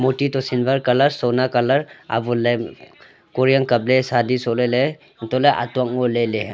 murti to silver colour sona colour avonley koriyang kapley sadi sohley ley antohley atuak ngoley ley.